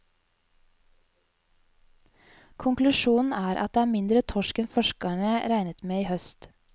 Konklusjonen er at det er mindre torsk enn forskerne regnet med i høst.